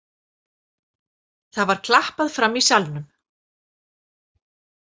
Það var klappað frammi í salnum.